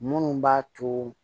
Minnu b'a to